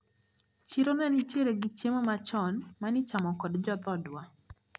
Chiro nenitiere gi chiemo machon manichamo kod jodhodwa.